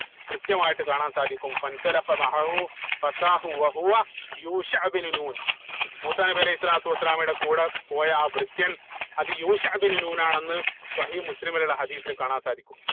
കൃത്യമായിട്ട് കാണാൻ സാധിക്കും യൂഷ ഇബിനു നൂൻ മൂസാ നബി അലൈഹി സ്വലാത്തു വസ്സലാമയുടെ കൂടെ പോയ ആ ഭൃത്യൻ അത് യൂഷ ഇബിനു നൂൻ ആണെന്ന് സ്വഹീഹുൽ മുസ്ലിമിൽ ഉള്ള ഹദീസിൽ കാണാൻ സാധിക്കും